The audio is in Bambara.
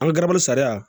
An ka garabali sariya